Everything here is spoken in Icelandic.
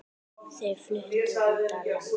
Þau fluttu út á land.